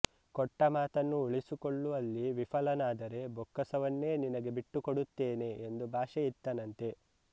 ಕೊಟ್ಟ ಮಾತನ್ನು ಉಳಿಸಿಕೊಳ್ಳುವಲ್ಲಿ ವಿಫಲನಾದರೆ ಬೊಕ್ಕಸವನ್ನೇ ನಿನಗೆ ಬಿಟ್ಟುಕೊಡುತ್ತೇನೆ ಎಂದು ಭಾಷೆ ಇತ್ತನಂತೆ